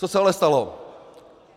Co se ale stalo?